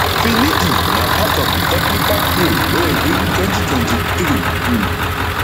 finidi na part of di technical crew wey win 2023 um